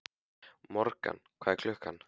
Morgan, hvað er klukkan?